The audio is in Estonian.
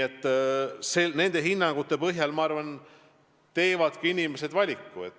Eks ka nende hinnangute põhjal teevadki inimesed oma valiku.